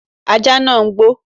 Ajá náà gbó.